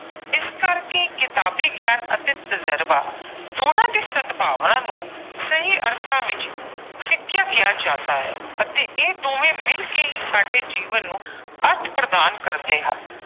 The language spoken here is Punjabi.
ਇਸ ਕਰਕੇ ਕਿਤਾਬੀ ਗਿਆਨ ਅਤੇ ਤਜਰਬਾ ਦੋਨਾਂ ਦੇ ਸਦਭਾਵਨਾ ਨੂੰ ਸਹੀ ਅਰਥਾਂ ਵਿੱਚ ਸਿੱਖਿਆ ਕਿਹਾ ਜਾਂਦਾ ਹੈ ਅਤੇ ਇਹ ਦੋਵੇਂ ਮਿਲ ਕੇ ਹੀ ਸਾਡੇ ਜੀਵਨ ਨੂੰ ਅਰਥ ਪ੍ਰਦਾਨ ਕਰਦੇ ਹਨ।